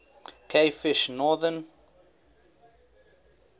cavefish northern